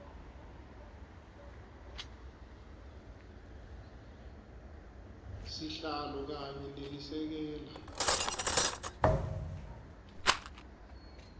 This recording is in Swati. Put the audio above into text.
sihlalo kanye nelisekela